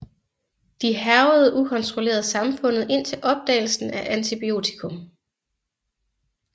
De hærgede ukontrolleret samfund indtil opdagelsen af antibiotikum